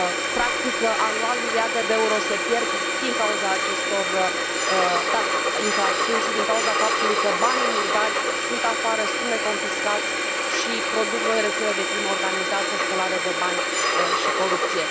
Practic, anual, miliarde de euro se pierd din cauza acestor infracțiuni și din cauza faptului că banii murdari sunt afară, sunt neconfiscați și produc noi rețele de crimă organizată, spălare de bani și corupție.